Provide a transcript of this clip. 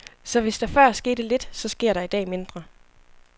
Så hvis der før skete lidt, så sker der i dag mindre.